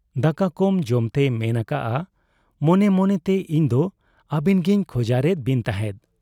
ᱫᱟᱠᱟ ᱠᱚᱢ ᱡᱚᱢᱛᱮᱭ ᱢᱮᱱ ᱟᱠᱟᱜ ᱟ, 'ᱢᱚᱱᱮ ᱢᱚᱱᱮᱛᱮ ᱤᱧᱫᱚ ᱟᱹᱵᱤᱱᱜᱤᱧ ᱠᱷᱚᱡᱟᱨᱮᱫ ᱵᱤᱱ ᱛᱟᱦᱮᱸᱫ ᱾